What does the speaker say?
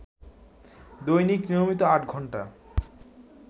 দৈনিক নিয়মিত আট ঘণ্টা